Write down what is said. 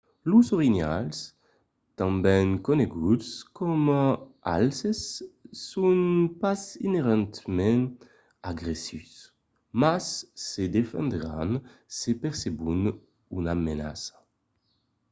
los orinhals tanben coneguts coma alces son pas inerentament agressius mas se defendràn se percebon una menaça